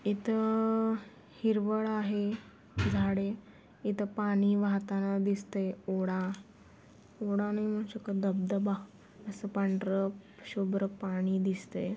इ-थ-अ-ह हिरवळ आहे झाडे इथ पाणी वाहताना दिसतय ओडा ओडा नाही म्हणु शकत धब-धबा आस पांढर शुभ्र पाणी दिसतय .